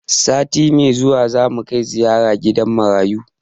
Sati mai zuwa za mu kai ziyara gidan marayu.